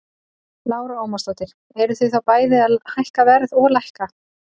Lára Ómarsdóttir: Eruð þið þá bæði að hækka verð og lækka?